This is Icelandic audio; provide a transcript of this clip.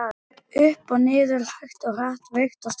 Upp og niður, hægt og hratt, veikt og sterkt.